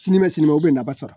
Sinikɛnɛ sini ma o bɛ nafa sɔrɔ